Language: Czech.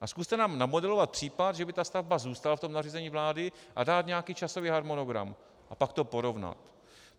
A zkuste nám namodelovat případ, že by ta stavba zůstala v tom nařízení vlády, a dát nějaký časový harmonogram a pak to porovnat.